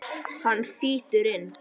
Hann þýtur inn.